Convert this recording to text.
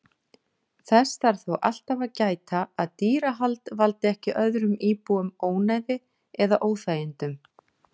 Þess þarf þó alltaf að gæta að dýrahald valdi ekki öðrum íbúum ónæði eða óþægindum.